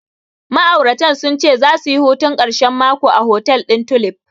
Ma'auratan sun ce zasu yi hutun ƙarshen mako a hotel ɗin Tulif.